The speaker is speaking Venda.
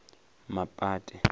mapate